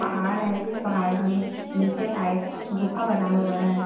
पहाड़ है जिस पहाड़ में नीचे साइड गुफ़ा बना हुआ है।